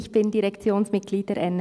Ich bin Direktionsmitglied der NMS.